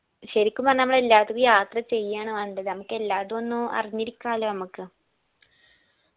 ശരിക്കും പറഞ്ഞാ മ്മള് എല്ലാ ഇടത്തെക്കും യാത്ര ചെയ്യാണ് വേണ്ടത് നമ്മക്കെല്ലാടും ഒന്ന് അറിഞ്ഞിരിക്കണല്ലോ മ്മക്ക്